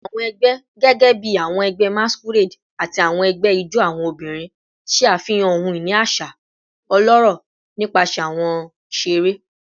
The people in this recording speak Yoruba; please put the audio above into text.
Awọn ẹgbẹ, gẹgẹbi awọn ẹgbẹ masquerade ati awọn ẹgbẹ ijó awọn obinrin, ṣe afihan ohun-ini aṣa ọlọrọ nipasẹ awọn iṣere